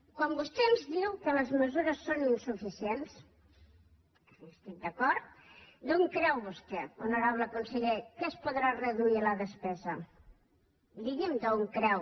quan vostè ens diu que les mesures són insuficients per tant hi estic d’acord d’on creu vostè honorable conseller que es podrà reduir la despesa digui’m d’on creu